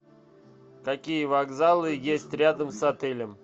какие вокзалы есть рядом с отелем